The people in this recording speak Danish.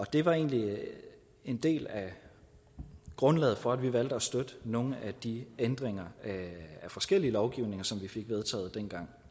det var egentlig en del af grundlaget for at vi valgte at støtte nogle af de ændringer af forskellige lovgivninger som vi fik vedtaget dengang